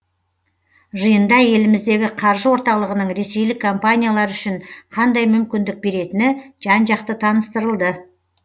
жиында еліміздегі қаржы орталығының ресейлік компаниялар үшін қандай мүмкіндік беретіні жан жақты таныстырылды